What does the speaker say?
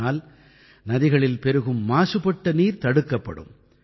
இதனால் நதிகளில் பெருகும் மாசுபட்ட நீர் தடுக்கப்படும்